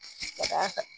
Ka